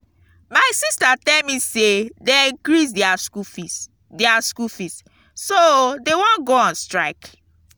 my sister tell me say dey increase their school fees their school fees so dey wan go on strike